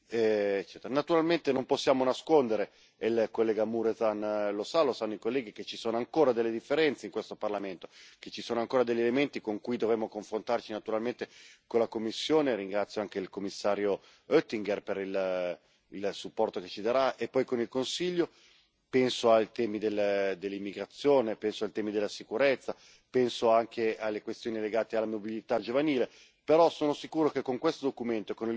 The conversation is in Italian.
Naturalmente non possiamo nascondere e il collega Mureșan lo sa, lo sanno i colleghi che ci sono ancora delle differenze in questo Parlamento, che ci sono ancora degli elementi con cui dovremo confrontarci, naturalmente, con la Commissione e ringrazio anche il commissario Oettinger per il supporto che ci darà e poi con il Consiglio penso ai temi dell'immigrazione, penso ai temi della sicurezza, penso anche alle questioni legate alla mobilità giovanile Però sono sicuro che con questo documento, e con il voto che